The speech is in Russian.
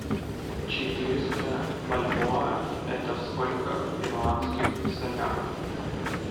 четыреста бальбоа это сколько в перуанских солях